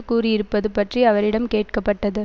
கூறியிருப்பது பற்றி அவரிடம் கேட்கப்பட்டது